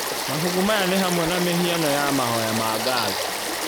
Mabuku maya nĩ hamwe na mĩhiano ya mahoya ma ngatho